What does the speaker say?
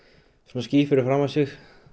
ský fyrir framan sig